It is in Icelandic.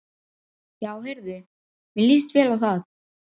Já heyrðu, mér líst vel á það!